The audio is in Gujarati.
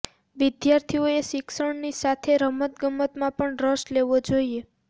વિદ્યાર્થીઓએ શિક્ષણની સાથે રમત ગમતમાં પણ રસ લેવો જોઈએ